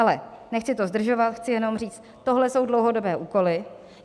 Ale nechci to zdržovat, chci jenom říct, tohle jsou dlouhodobé úkoly.